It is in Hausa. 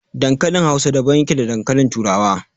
Dankalin Hausa daban yake da dankalin Turawa.